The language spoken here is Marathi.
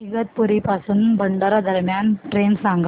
इगतपुरी पासून भंडारा दरम्यान ट्रेन सांगा